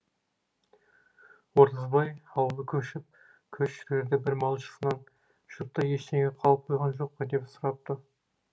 оразбай аулы көшіп көш жүрерде бір малшысынан жұртта ештеңе қалып қойған жоқ па деп сұрапты